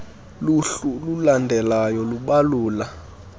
luhlu lulandelalyo lubalula